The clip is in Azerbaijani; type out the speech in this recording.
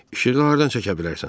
İşığı hardan çəkə bilərsən?